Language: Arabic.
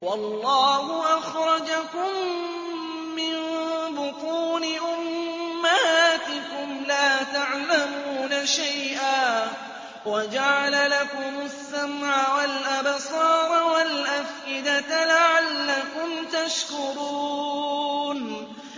وَاللَّهُ أَخْرَجَكُم مِّن بُطُونِ أُمَّهَاتِكُمْ لَا تَعْلَمُونَ شَيْئًا وَجَعَلَ لَكُمُ السَّمْعَ وَالْأَبْصَارَ وَالْأَفْئِدَةَ ۙ لَعَلَّكُمْ تَشْكُرُونَ